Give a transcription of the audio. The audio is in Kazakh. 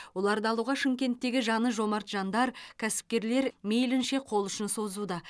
оларды алуға шымкенттегі жаны жомарт жандар кәсіпкерлер мейлінше қол ұшын созуда